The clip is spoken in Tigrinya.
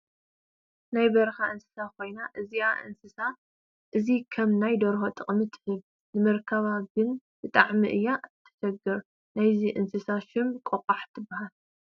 ናይ በረካ እንስሳ ኮይና እዛ እንስሳ እዚ ከም ናይ ደርሆ ጥቅሚ ትህብ። ንምርካብ ግን ብጣዕሚእያ ተሸግር ናይዛ እንስሳ ሽም ቆቋሕ ትበሃል።